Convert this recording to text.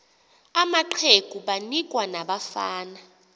amaqegu banikwa nabafana